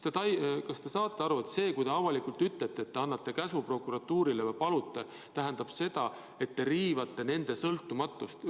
Kas te saate aru, et see, kui ta avalikult ütlete, et te annate prokuratuurile sellise käsu, siis tähendab see seda, et te riivate ajakirjanduse sõltumatust?